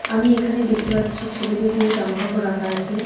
আমি এখানে দেখতে পাচ্ছি ছেলেদের কিছু জামা কাপড় রাখা আছে.